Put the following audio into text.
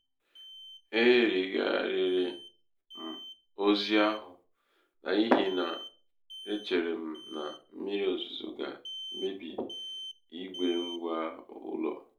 e yigharịrị um m ozi ahụ n'ihi na um e chere m na mmírí ozuzo ga-emebi igbe ngwa ụlọ um.